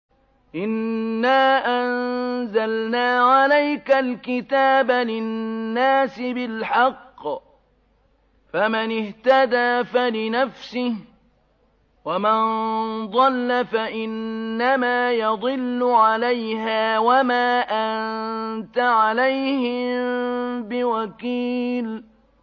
إِنَّا أَنزَلْنَا عَلَيْكَ الْكِتَابَ لِلنَّاسِ بِالْحَقِّ ۖ فَمَنِ اهْتَدَىٰ فَلِنَفْسِهِ ۖ وَمَن ضَلَّ فَإِنَّمَا يَضِلُّ عَلَيْهَا ۖ وَمَا أَنتَ عَلَيْهِم بِوَكِيلٍ